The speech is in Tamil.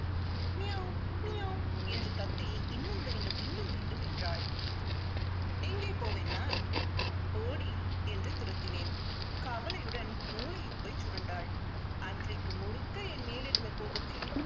மியாவ் மியாவ் என்று கத்தி இன்னும் வேண்டும் இன்னும் வேண்டும் என்றாள். எங்கே போவேன் நான்? போடி என்று துரத்தினேன். கவலையுடன் மூலையில் போய் சுருண்டாள். அன்றைக்கு முழுக்க என் மேல் இருந்த கோபத்தில்